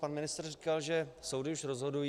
Pan ministr říkal, že soudy už rozhodují.